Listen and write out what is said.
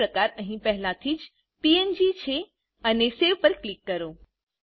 file પ્રકાર અહી પહેલા થી જ પીએનજી છે અને Saveપર ક્લિક કરો